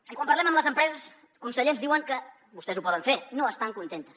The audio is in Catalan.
i quan parlem amb les empreses conseller ens diuen que vostès ho poden fer no estan contentes